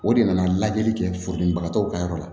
O de nana lajɛli kɛ furudenbagatɔw ka yɔrɔ la